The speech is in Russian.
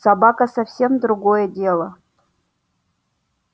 собака совсем другое дело